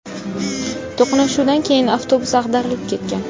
To‘qnashuvdan so‘ng avtobus ag‘darilib ketgan.